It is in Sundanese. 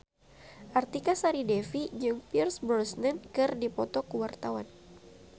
Artika Sari Devi jeung Pierce Brosnan keur dipoto ku wartawan